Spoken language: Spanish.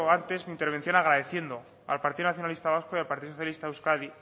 antes mi intervención agradeciendo al partido nacionalista vasco y al partido socialista de euskadi